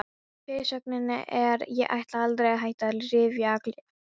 Fyrirsögnin er: Ég ætla aldrei að hætta að rífa kjaft!